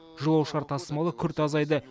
жолаушылар тасымалы күрт азайды